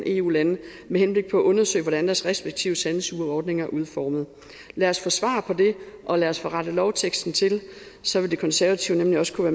eu lande med henblik på at undersøge hvordan deres respektive sandsugerordninger er udformet lad os få svar på det og lad os få rettet lovteksten til så vil konservative nemlig også kunne